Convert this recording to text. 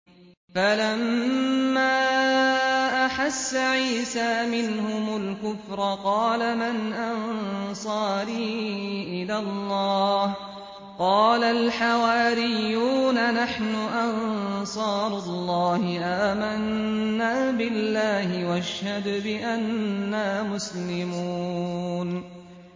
۞ فَلَمَّا أَحَسَّ عِيسَىٰ مِنْهُمُ الْكُفْرَ قَالَ مَنْ أَنصَارِي إِلَى اللَّهِ ۖ قَالَ الْحَوَارِيُّونَ نَحْنُ أَنصَارُ اللَّهِ آمَنَّا بِاللَّهِ وَاشْهَدْ بِأَنَّا مُسْلِمُونَ